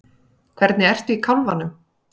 Hvernig ertu í kálfanum?